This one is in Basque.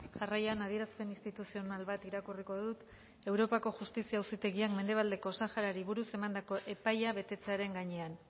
jarraian adierazpen instituzional bat irakurriko dut europako justizia auzitegian mendebaldeko saharari buruz emandako epaia betetzearen gainean